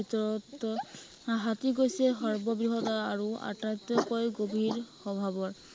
ভিতৰতে হাতী হৈছে সৰ্ব বৃহৎ আৰু আটাইতকৈ গভীৰ স্বভাৱৰ